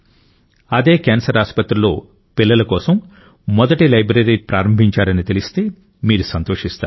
అదే క్యాన్సర్ ఆసుపత్రిలో పిల్లల కోసం మొదటి లైబ్రరీ ప్రారంభించారని తెలిస్తే మీరు సంతోషిస్తారు